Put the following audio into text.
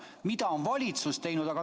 Mida on valitsus teinud?